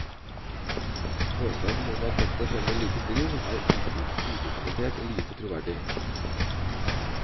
Påstanden om at dette fremmer likestilling, er udokumentert og lite troverdig.